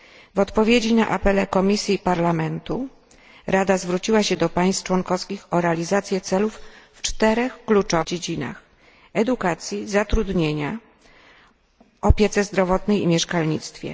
W odpowiedzi na apele Komisji i Parlamentu, Rada zwróciła się do państw członkowskich o realizację celów w czterech kluczowych dziedzinach edukacji, zatrudnienia, opiece zdrowotnej i mieszkalnictwie.